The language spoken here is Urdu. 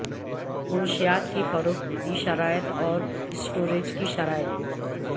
منشیات کی فروخت کی شرائط اور سٹوریج کی شرائط